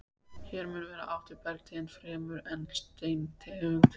Hér mun vera átt við bergtegund fremur en steintegund.